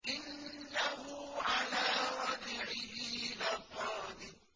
إِنَّهُ عَلَىٰ رَجْعِهِ لَقَادِرٌ